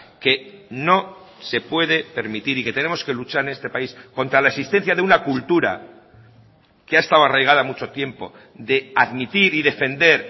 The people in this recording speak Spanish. que no se puede permitir y que tenemos que luchar en estepaís contra la existencia de una cultura que ha estado arraigada mucho tiempo de admitir y defender